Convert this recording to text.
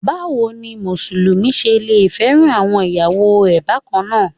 Báwo ni Mùsùlùmí ṣe lẹ fẹ́ràn àwọn ìyàwó rẹ̀ bákannáà.